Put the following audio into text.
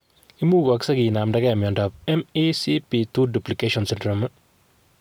Imugoksei kinamdage miondap MECP2 duplication syndrome?